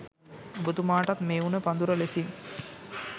ඔබතුමාටත් මේ උණ පඳුර ලෙසින්